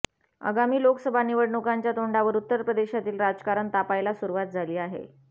आगामी लोकसभा निवडणुकांच्या तोंडावर उत्तर प्रदेशातील राजकारण तापायला सुरुवात झाली आहे